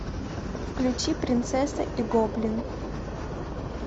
включи принцесса и гоблин